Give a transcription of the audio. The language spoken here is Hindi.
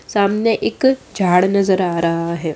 सामने एक झाड़ नजर आ रहा है।